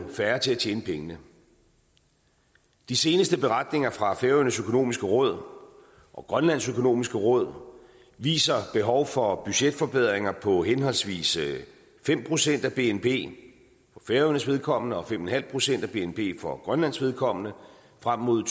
færre til at tjene pengene de seneste beretninger fra færøernes økonomiske råd og grønlands økonomiske råd viser behov for budgetforbedringer på henholdsvis fem procent af bnp for færøernes vedkommende og fem en halv procent af bnp for grønlands vedkommende frem mod